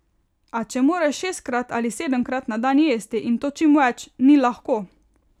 A če moraš šestkrat ali sedemkrat na dan jesti, in to čim več, ni lahko.